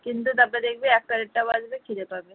কিন্তু তারপর দেখবি একটা দেড়টা বাজবে খিদে পাবে